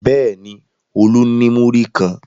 Bẹ́ẹ̀ ni, Olú ní múrí kan.